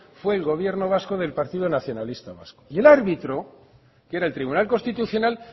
fue el gobierno vasco del partido nacionalista vasco y el árbitro que era el tribunal constitucional